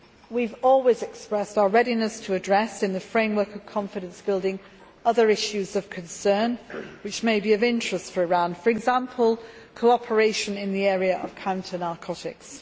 We have always expressed our readiness to address, in the framework of confidence building, other issues of concern which may be of interest for Iran, for example cooperation in the area of counter narcotics.